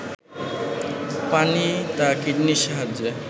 পানি তা কিডনির সাহায্যে